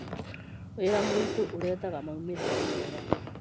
Wĩra mũrĩtũ ũrehagaa maumĩrĩra mega